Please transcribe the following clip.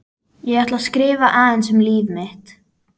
Ég ætla að skrifa aðeins um líf mitt.